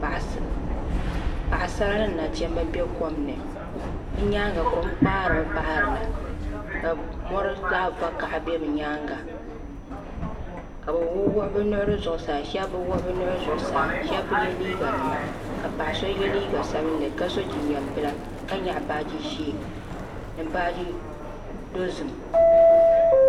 Paɣisara ni nachimba bɛ kom ni bi yɛanga kom kpasiri mi bahiri na ka mori zaɣi vakaha bɛ bi yɛanga kabi wuɣi wuɣi bi nuhi zuɣusaa shɛb bi wuɣi wuɣi bi nuhi zuɣusaa shɛba bi yɛ liiga nima ka so yɛ liiga sabinli ka so jinjam bila nyɛɣi baaji zɛɛ ni baaji dozim